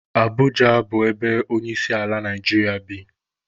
Abụja bụ ebe onyeisiala Naijiria bi.